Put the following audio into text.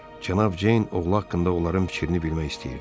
Cənab Ceyn oğlu haqqında onların fikrini bilmək istəyirdi.